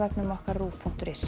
ruv punktur is